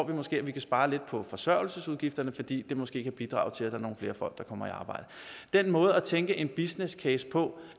man måske spare lidt på forsørgelsesudgifterne fordi det måske kan bidrage til at der er nogle flere folk der kommer i arbejde den måde at tænke en businesscase på